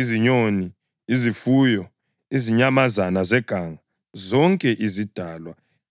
izinyoni, izifuyo, izinyamazana zeganga, zonke izidalwa ezazitshatshama phezu komhlaba, loluntu lonke.